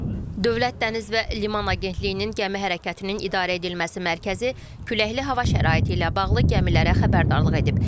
Dövlət Dəniz və Liman Agentliyinin gəmi hərəkətinin idarə edilməsi mərkəzi küləkli hava şəraiti ilə bağlı gəmilərə xəbərdarlıq edib.